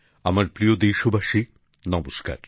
আমার প্রিয় দেশবাসী নমস্কার